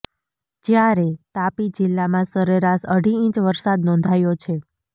જ્યારે તાપી જિલ્લામાં સરેરાશ અઢી ઇંચ વરસાદ નોંધાયો છે